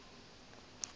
ge ba šetše ba le